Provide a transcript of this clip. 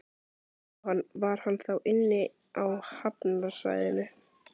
Jóhann: Var hann þá inni á hafnarsvæðinu?